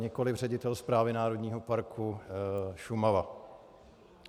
Nikoliv ředitel Správy národního parku Šumava.